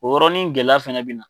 O yɔrɔnin gɛlɛya fɛnɛ bɛ na.